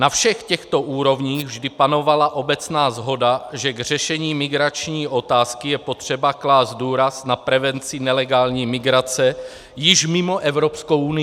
Na všech těchto úrovních vždy panovala obecná shoda, že k řešení migrační otázky je potřeba klást důraz na prevenci nelegální migrace již mimo Evropskou unii.